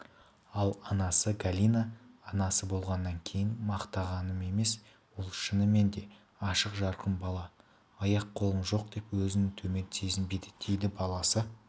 ал анасы галина анасы болғаннан кейін мақтағаным емес ол шынымен де ашық-жарқын бала аяқ-қолым жоқ деп өзін төмен сезінбейді дейді баласы